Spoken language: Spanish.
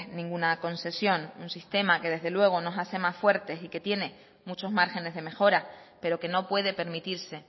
ninguna concesión un sistema que desde luego nos hace más fuertes y que tiene muchos márgenes de mejora pero que no puede permitirse